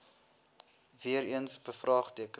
weer eens bevraagteken